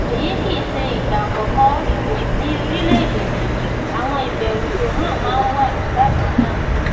èyí kì í ṣe ìgbà àkọkọ ìbò ní orílẹèdè yìí àwọn ìbẹrù tó han máa ń wà bákan náà